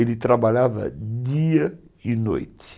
Ele trabalhava dia e noite.